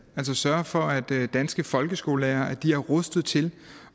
altså sørge for at danske folkeskolelærere er rustet til